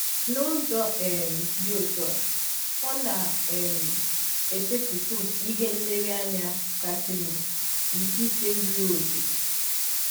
N’ụzọ um dị ọtụ a, ọ na um - esetịpụ ihe nlereanya kasịnụ nke ikpe zụrụ ọkè.